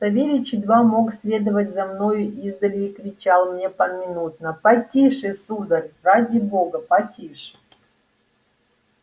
савельич едва мог следовать за мною издали и кричал мне поминутно потише сударь ради бога потише